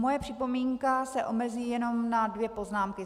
Moje připomínka se omezí jenom na dvě poznámky.